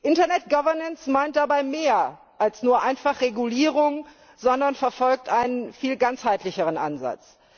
Internet Governance meint aber mehr als nur einfach Regulierung, sondern verfolgt einen viel ganzheitlicheren Ansatz.